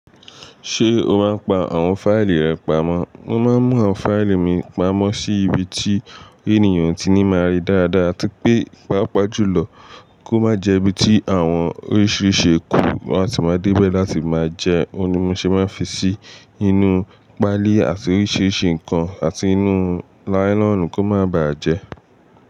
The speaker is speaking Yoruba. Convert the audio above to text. Ṣé o máa ń pa àwọn fáìlì rẹ pamọ́? Mo máa ń mú àwọn fáìlì mi pamọ́ sí ibi tí ènìyàn o ti ní máa rí dáradára atí pé pàápàá jù lọ kó má jẹ́ ibi tí àwọn oríṣìíríṣìí ékù, wọn ati máa dé bẹ́ láti máa jẹ́, òun ní mo ṣe máa ń fi sí inú páálí àti oríṣìíríṣìí ǹkan àti inú láílọ̀nù kó má bà á jẹ́